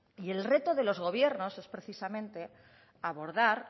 y el reto de los gobiernos es precisamente abordar